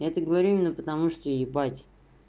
это говорю именно потому что ебать